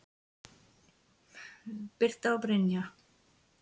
Birta og Brynja.